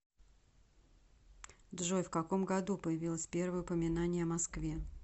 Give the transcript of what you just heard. джой в каком году появилось первое упоминание о москве